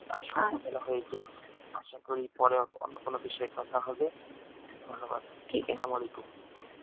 আসলে অনেক বেলা হয়ে গিয়েছে আসা করি পরে অন্য কোনো বিষয় কথা হবে ধন্যবাদ আসসালামালাইকুম